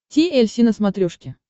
ти эль си на смотрешке